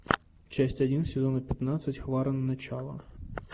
часть один сезона пятнадцать хваран начало